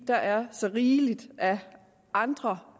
der er så rigelig af andre